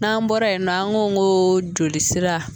N'an bɔra yen nɔ, an ko n ko jolisira